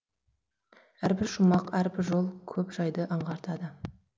әрбір шумақ әрбір жол көп жайды аңғартады